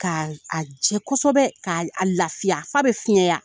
Ka a jɛ kosɛbɛ, k' a lafiya fa bɛ fiɲɛya